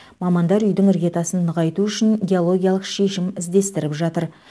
мамандар үйдің іргетасын нығайту үшін геологиялық шешім іздестіріп жатыр